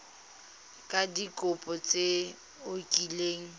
ka dikopo tse o kileng